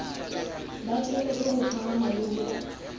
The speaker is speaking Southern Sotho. batjhelete ho phahama le ho